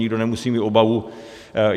Nikdo nemusí mít obavu.